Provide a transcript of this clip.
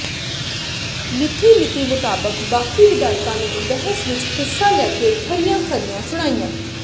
ਮਿਥੀ ਨੀਤੀ ਮੁਤਾਬਕ ਬਾਕੀ ਵਿਧਾਇਕਾਂ ਨੇ ਬਹਿਸ ਵਿੱਚ ਹਿੱਸਾ ਲੈ ਕੇ ਖਰੀਆਂ ਖਰੀਆਂ ਸੁਣਾਈਆਂ